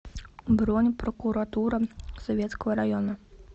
бронь прокуратура советского района